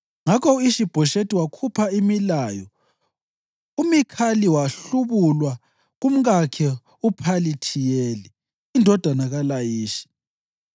Ngakho u-Ishi-Bhoshethi wakhupha imilayo uMikhali wahlubulwa kumkakhe uPhalithiyeli indodana kaLayishi.